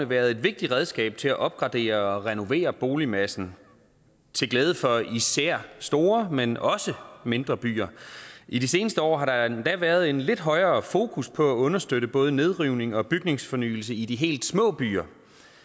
været et vigtigt redskab til at opgradere og renovere boligmassen til glæde for især store men også mindre byer i de seneste år har der endda været en lidt højere fokus på at understøtte både nedrivning og bygningsfornyelse i de helt små byer